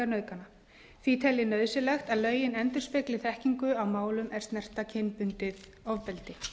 nauðgana því tel ég nauðsynlegt að lögin endurspegli þekkingu á málum er snerta kynbundið ofbeldi